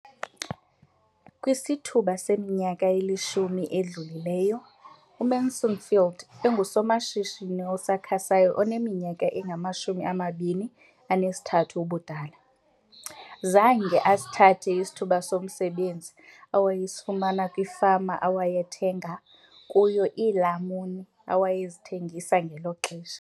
Kwisithuba seminyaka elishumi edlulileyo, uMansfield engusomashishini osakhasayo oneminyaka engama-23 ubudala, zange asithathe isithuba somsebenzi awayesifumana kwifama awayethenga kuyo iilamuni awayezithengisa ngelo xesha.